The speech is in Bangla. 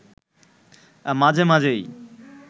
মাঝে মাঝেই